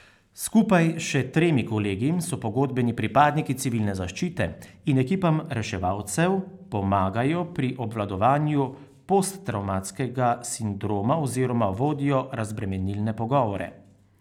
Skupaj s še tremi kolegi so pogodbeni pripadniki civilne zaščite in ekipam reševalcev pomagajo pri obvladovanju posttravmatskega sindroma oziroma vodijo razbremenilne pogovore.